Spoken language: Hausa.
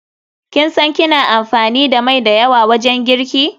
Kin san kina amfani da mai da yawa wajen girki?